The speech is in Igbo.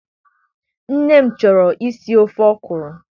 Nne m chọrọ isi ofe Okro